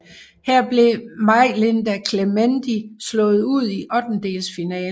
Her blev Majlinda Kelmendi slået ud i ottendedelsfinalen